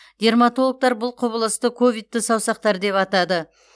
дерматологтар бұл құбылысты ковидті саусақтар деп атады